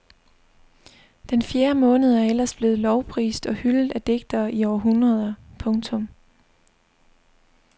Den fjerde måned er ellers blevet lovprist og hyldet af digtere i århundreder. punktum